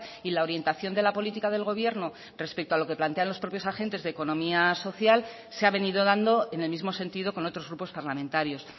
y la orientación de la política del gobierno respecto a lo que plantean los propios agentes de economía social se ha venido dando en el mismo sentido con otros grupos parlamentarios